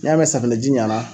N'i y'a mɛn safinɛji ɲɛna